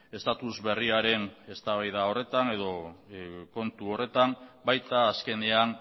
estatus berriaren eztabaida horretan edo kontu horretan baita azkenean